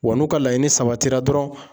Wa n'u ka laɲini sabatira dɔrɔn